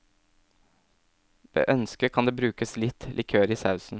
Ved ønske kan det brukes litt likør i sausen.